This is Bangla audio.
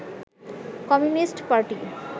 communist party